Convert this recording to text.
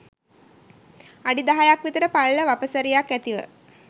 අඩි දහයක් විතර පළල වපසරියක් ඇතිව